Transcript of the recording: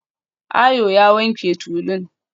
Ayo ya wanke tulun